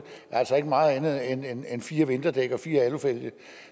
er altså ikke meget andet end fire vinterdæk og fire alufælge